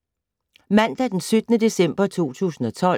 Mandag d. 17. december 2012